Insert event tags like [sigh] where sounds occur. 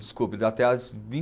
Desculpe, da até as [unintelligible]